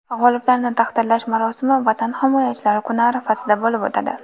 G‘oliblarni taqdirlash marosimi Vatan himoyachilari kuni arafasida bo‘lib o‘tadi.